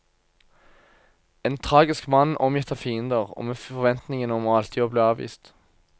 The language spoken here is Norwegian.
En tragisk mann omgitt av fiender, og med forventningen om alltid å bli avvist.